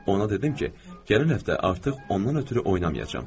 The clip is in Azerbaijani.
Ona dedim ki, gələn həftə artıq ondan ötrü oynamayacam.